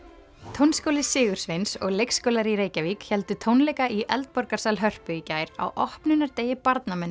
tónskóli Sigursveins og leikskólar í Reykjavík héldu tónleika í Hörpu í gær á opnunardegi